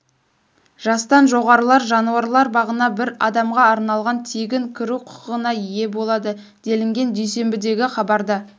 жастан жоғарылар жануарлар бағына бір адамға арналған тегін кіру құқығына ие болады делінген дүйсенбідегі хабарда